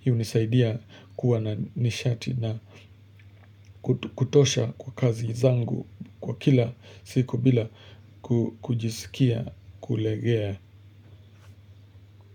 Hii unisaidia kuwa na nishati na kutosha kwa kazi zangu kwa kila siku bila kujisikia kulegea.